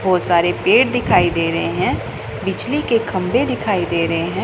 बहुत सारे पेड़ दिखाई दे रहे हैं बिजली के खंभे दिखाई दे रहे हैं।